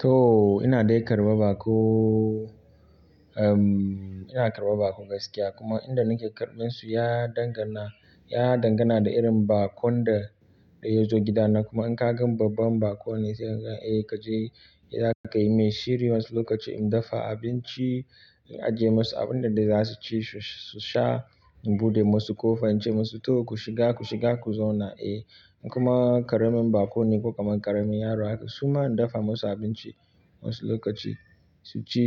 To ina dai karɓa baƙo, umm ina karɓa baƙo gaskiya kuma inda nake karɓan su ya dangana, ya dangana da irin baƙon da, da yazo gidana kuma in ka gan babban baƙo ne sai ka je ka yi mai shiri wasu lokaci in dafa abinci, in ajiye masu abin da za su ci su sha, in buɗe masu ƙofa in ce musu to ku shiga, ku shiga ku zauna. Eh kuma ƙaramin baƙo ne ko ƙaramin yaro haka, su ma in dafa musu abinci wasu lokaci su ci